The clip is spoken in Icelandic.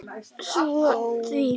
Svaraðu því.